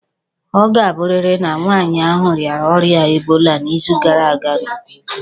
Ọ ga-abụrịrị na nwaanyị ahụ rịara ọrịa ebola n'izu gara aga nke ukwuu.